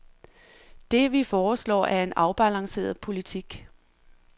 Det, vi foreslår, er en afbalanceret politik.